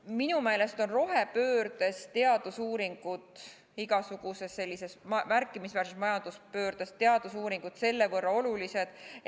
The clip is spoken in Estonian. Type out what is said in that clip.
Minu meelest on rohepöördes ja igasuguses märkimisväärses majanduspöördes teadusuuringud olulised.